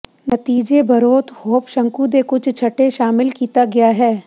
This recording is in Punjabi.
ਨਤੀਜੇ ਬਰੋਥ ਹੋਪ ਸ਼ੰਕੂ ਦੇ ਕੁਝ ਛੱਟੇ ਸ਼ਾਮਿਲ ਕੀਤਾ ਗਿਆ ਹੈ